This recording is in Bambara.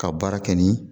Ka baara kɛ ni